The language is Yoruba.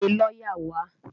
Pe lọ́yà wá!